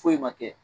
Foyi ma kɛ